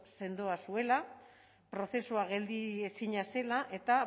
sendoa zuela prozesua geldiezina zela eta